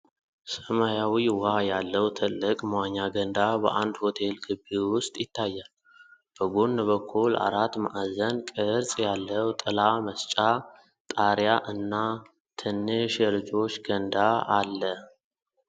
ሰማያዊ ውሃ ያለው ትልቅ መዋኛ ገንዳ በአንድ ሆቴል ግቢ ውስጥ ይታያል። በጎን በኩል አራት ማዕዘን ቅርጽ ያለው ጥላ መስጫ ጣሪያ እና ትንሽ የልጆች ገንዳ አለ።